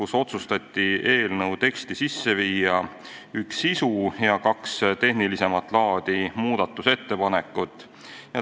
Seaduse teksti otsustati sisse viia üks sisuline ja kaks tehnilisemat laadi muudatust.